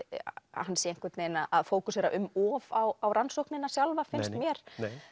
hann sé að fókusera um of á rannsóknina sjálfa finnst mér